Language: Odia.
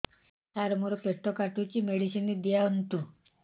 ସାର ମୋର ପେଟ କାଟୁଚି ମେଡିସିନ ଦିଆଉନ୍ତୁ